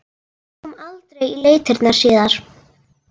Það kom aldrei í leitirnar síðar.